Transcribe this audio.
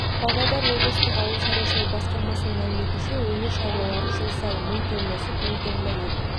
павлодар облыстық ауыл шаруашылығы басқармасының мәліметінше өңір шаруалары жыл сайын мың тонна сүт мың тонна ет